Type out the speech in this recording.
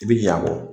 I bi ɲa a kɔ